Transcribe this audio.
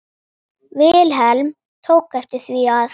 Vilhelm tók eftir því að